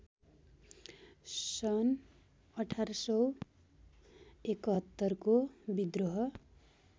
सन् १८७१ को विद्रोह